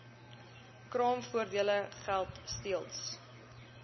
kraamvoordele geld steeds